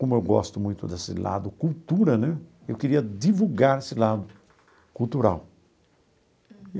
Como eu gosto muito desse lado cultura né, eu queria divulgar esse lado cultural.